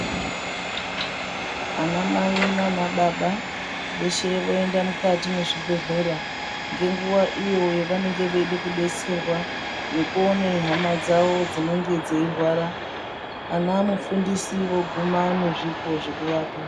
Vanamai nanababa veshe voenda mukati mezvibhedhlera ngenguva iyo yavanenge veida kudetserwa nekuona hama dzawo dzinenge dzeirwara ana mufundisi voguma nezvipo zvekuvapa.